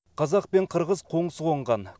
қазақ пен қырғыз қоңсы қонған